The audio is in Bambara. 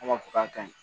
An b'a fɔ k'a kaɲi